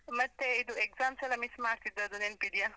ಮತ್ತೆ, ಇದು exams ಎಲ್ಲ miss ಮಾಡ್ತಿದ್ದದ್ದು ನೆನಪಿದೆಯಾ?